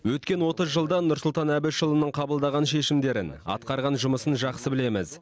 өткен отыз жылда нұрсұлтан әбішұлының қабылдаған шешімдерін атқарған жұмысын жақсы білеміз